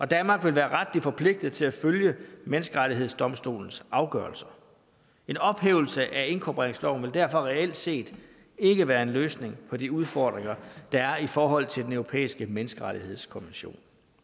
danmark vil være retligt forpligtet til at følge menneskerettighedsdomstolens afgørelser en ophævelse af inkorporeringsloven vil derfor reelt set ikke være en løsning på de udfordringer der er i forhold til den europæiske menneskerettighedskonvention